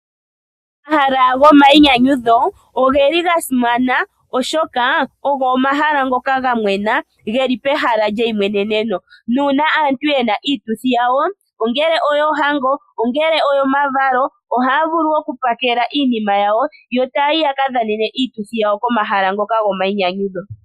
Omahala gomainyanyudho oge li gasimana , oshoka ogo omahala ngoka gamwena geli pehala lyeimweneneno. Nuuna aantu yena iituthi yawo, ongele oyoohango , ongele oyomavalo ohaya vulu okupakela iinima yawo , yo taya yi yakadhanene iituthi yawo komahala ngoka gomainyanyudho.